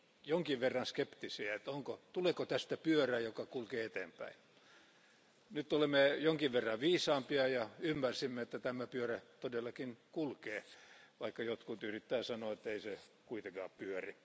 jonkin verran skeptisiä tuleeko tästä pyörä, joka kulkee eteenpäin. Nyt olemme jonkin verran viisaampia ja ymmärrämme, että tämä pyörä todella kulkee, vaikka jotkut yrittävät sanoa, ettei se kuitenkaan pyöri.